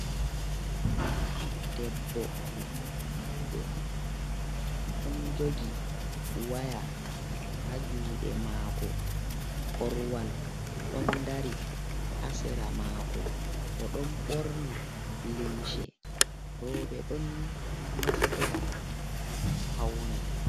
Debbo mawɗo ɗon jogi waya haa juuɗe maako, korwal ɗon dari haa sera maako o ɗon ɓorni limse, rooɓe ɗon naftora ngam pawne.